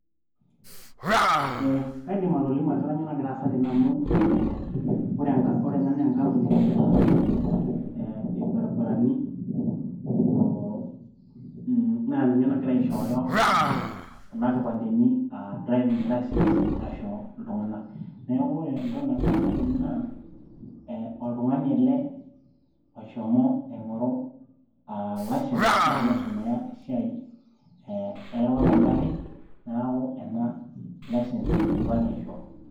ee kaidim atolimu ajo kanyio nagira aasa tene amu ee ore enka, ena naa enkampuni naitasheki irbaribarani oo naa ninye nagira aishooyo kuna kipandeni aa driving license aisho iltung'anak neeku ore entoki nagira aasa tene naa ee oltung'ani ele loshomo aing'oru aa license ashu eshomo aisomeya esiai e ereware oongarrin neeku ena license idipaki aishoo.